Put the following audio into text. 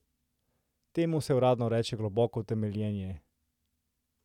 Temu se uradno reče globoko temeljenje.